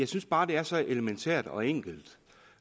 synes bare det er så elementært og enkelt